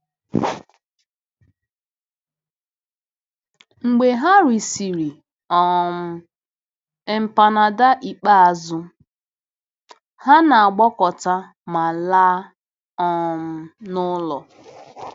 Mgbe ha resịrị um empanada ikpeazụ, ha na-agbakọta ma laa um n'ụlọ.